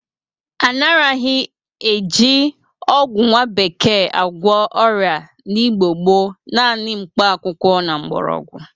A naraghị e ji ọgwọ nwa bekee agwọ ọrịa n'Igbo gboo, nanị mkpa akwụkwọ na mgbọrọgwọ.